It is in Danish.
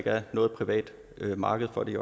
er noget privat marked for det